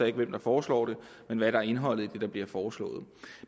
ikke hvem der foreslår det men hvad der er indholdet i det der bliver foreslået